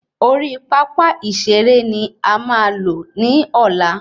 Orí pápá ìseré ni a máa lo ni ola